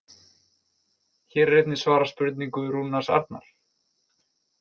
Hér er einnig svarað spurningu Rúnars Arnar: